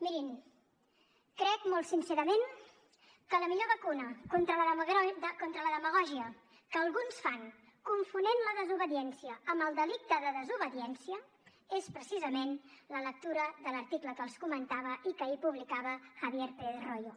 mirin crec molt sincerament que la millor vacuna contra la demagògia que alguns fan confonent la desobediència amb el delicte de desobediència és precisament la lectura de l’article que els comentava i que ahir publicava javier pérez royo